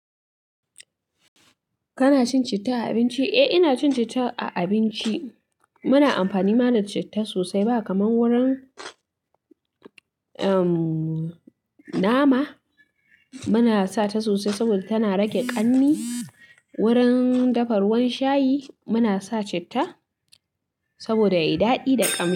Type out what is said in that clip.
Kana cin citta a abinci? Eh, ina cin citta a abinci. Muna amfani ma da citta sosai. Ba kamar wurin, ehm, nama muna sa ta sosai saboda tana rage ƙanni. Wurin dafa ruwan shayi muna sa citta saboda yayi daɗi da ƙamshi.